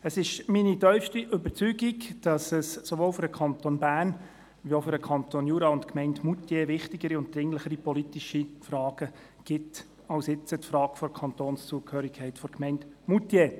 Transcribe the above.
Es ist meine tiefste Überzeugung, dass es sowohl für den Kanton Bern als auch für den Kanton Jura und die Gemeinde Moutier wichtigere und dringlichere Fragen gibt als die Frage der Kantonszugehörigkeit der Gemeinde Moutier.